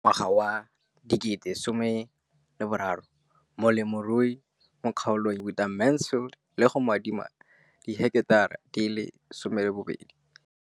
Ka ngwaga wa 2013, molemirui mo kgaolong ya bona o ne a dumela go ruta Mansfield le go mo adima di heketara di le 12 tsa naga.